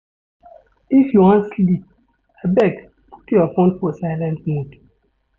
If you wan sleep, abeg put your fone for silent mode.